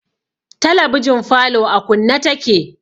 Talabijin falo a kunne take